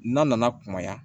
N'a nana kunbaya